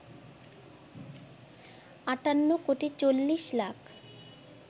৫৮ কোটি ৪০ লাখ